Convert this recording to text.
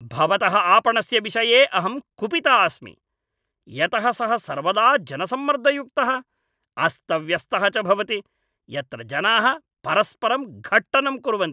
भवतः आपणस्य विषये अहं कुपिता अस्मि, यतः सः सर्वदा जनसम्मर्दयुक्तः, अस्तव्यस्तः च भवति, यत्र जनाः परस्परं घट्टनं कुर्वन्ति।